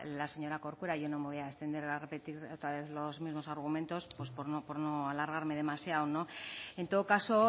la señora corcuera yo no me voy a extender a repetir otra vez los mismos argumentos por no alargarme demasiado en todo caso